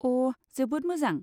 अ, जोबोद मोजां।